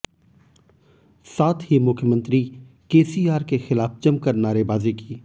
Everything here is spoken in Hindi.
साथ ही मुख्यमंत्री केसीआर के खिलाफ जमकर नारेबाजी की